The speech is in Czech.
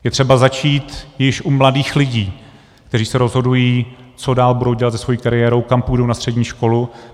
Je třeba začít již u mladých lidí, kteří se rozhodují, co dál budou dělat se svou kariérou, kam půjdou na střední školu.